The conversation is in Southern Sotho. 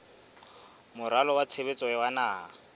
moralo wa tshebetso wa naha